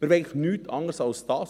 Wir wollen nichts anderes als das.